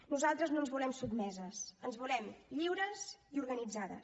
nosaltres no ens volem sotmeses ens volem lliures i organitzades